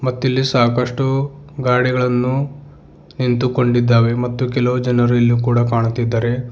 ಮತ್ತಿಲ್ಲಿ ಸಾಕಷ್ಟು ಗಾಡಿಗಳನ್ನು ನಿಂತುಕೊಂಡಿದ್ದಾವೆ ಮತ್ತು ಕೆಲವು ಜನರು ಇಲ್ಲಿ ಕೂಡ ಕಾಣುತ್ತಿದ್ದಾರೆ.